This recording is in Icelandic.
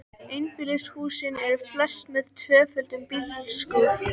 Einbýlishúsin eru flest með tvöföldum bílskúr.